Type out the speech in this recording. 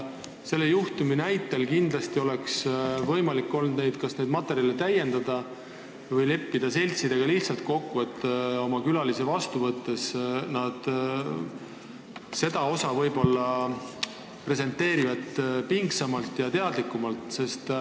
Selle juhtumi näitel oleks võimalik olnud kas neid materjale täiendada või leppida seltsidega lihtsalt kokku, et külalisi vastu võttes nad seda osa võib-olla presenteerivad pingsamalt ja teadlikumalt.